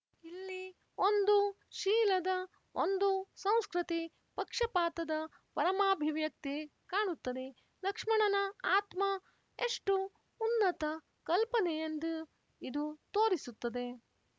ಇಲ್ಲಿ ಒಂದು ಶೀಲದ ಒಂದು ಸಂಸ್ಕೃತಿ ಪಕ್ಷಪಾತದ ಪರಮಾಭಿವ್ಯಕ್ತಿ ಕಾಣುತ್ತದೆ ಲಕ್ಷ್ಮಣನ ಆತ್ಮ ಎಷ್ಟು ಉನ್ನತ ಕಲ್ಪನೆಯಂದ್ ಇದು ತೋರಿಸುತ್ತದೆ